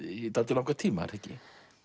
í dálítið langan tíma er það ekki